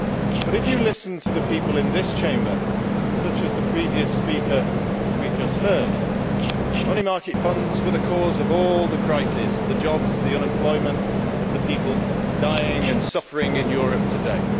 But if you listen to the people in this Chamber such as the previous speaker we have just heard money market funds were the cause of all the crises, the jobs, the unemployment, and the people dying and suffering in Europe today.